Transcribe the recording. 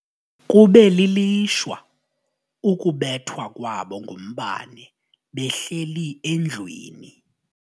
Kube lilishwa ukubethwa kwabo ngumbane behleli endlwini.